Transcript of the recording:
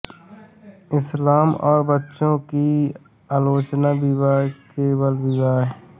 इस्लाम और बच्चों की आलोचना विवाह और बाल विवाह